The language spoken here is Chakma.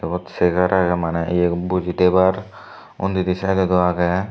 iyot chair age mane boji thebar undi di side ot o age.